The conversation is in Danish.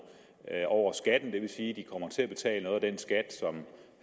over skatten det vil sige at de kommer til betale noget af den skat som